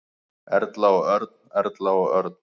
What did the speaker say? Erla og Örn. Erla og Örn.